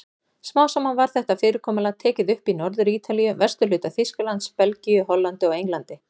Smám saman var þetta fyrirkomulag tekið upp í Norður-Ítalíu, vesturhluta Þýskalands, Belgíu, Hollandi og Englandi.